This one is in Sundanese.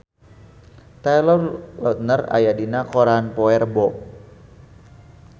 Taylor Lautner aya dina koran poe Rebo